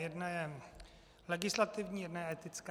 Jedna je legislativní, jedna je etická.